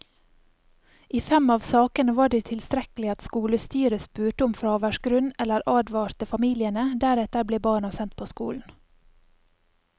I fem av sakene var det tilstrekkelig at skolestyret spurte om fraværsgrunn eller advarte familiene, deretter ble barna sendt på skolen.